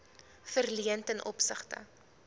verleen ten opsigte